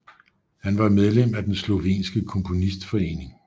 Han var medlem af den Slovenske Komponistforening